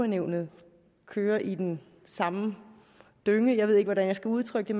nævnet kører i den samme dynge jeg ved ikke hvordan jeg skal udtrykke